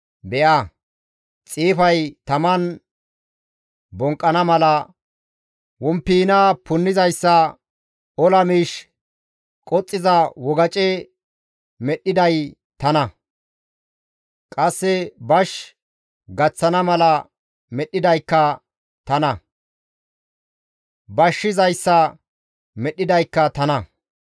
«Be7a, xiifay taman bonqqana mala womppiina punnizayssa, ola miish qoxxiza wogace medhdhiday tana. Qasse bash gaththana mala medhdhidaykka tana; bashshizayssa medhdhidaykka tana.